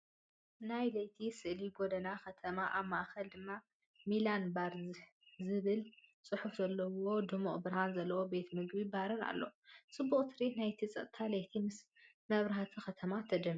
ናይ ለይቲ ስእሊ ጎደና ከተማ፤ ኣብ ማእከል ድማ 'ሚላን ባር' ዝብል ጽሑፍ ዘለዎ ድሙቕ ብርሃን ዘለዎ ቤት ምግብን ባርን ኣሎ። ።ጽቡቕ ትርኢት ናይቲ ጸጥታ ለይቲ ምስ መብራህቲ ከተማ ተደሚሩ።